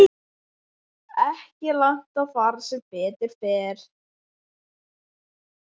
Ekki langt að fara sem betur fer.